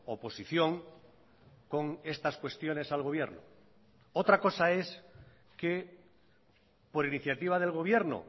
oposición con estas cuestiones al gobierno otra cosa es que por iniciativa del gobierno